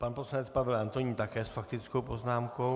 Pan poslanec Pavel Antonín také s faktickou poznámkou.